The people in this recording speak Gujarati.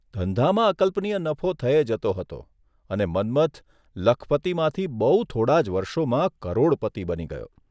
ધંધામાં અકલ્પનિય નફો થયે જતો હતો અને મન્મથ લખપતિમાંથી બહુ થોડાં જ વર્ષોમાં કરોડપતિ બની ગયો.